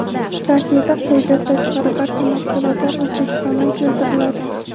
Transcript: Kafeda qo‘ydan tashqari barcha mahsulotlar O‘zbekistondan keltiriladi.